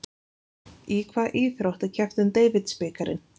Í hvaða íþrótt er keppt um Davidsbikarinn?